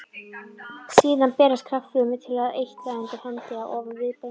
Síðan berast krabbafrumurnar til eitla undir hendi eða ofan viðbeina.